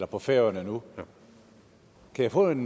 på færøerne nu kan jeg få en